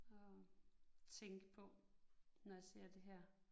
At tænke på, når jeg ser det her